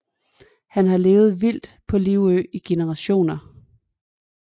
Der har levet vildt på Livø i generationer